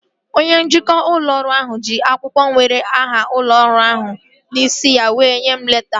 Onye njikwa ụlọ ọrụ ahụ ji akwụkwọ nwere aha ụlọ ọrụ ahụ n'isi ya were nyee m leta